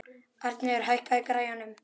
Arnheiður, hækkaðu í græjunum.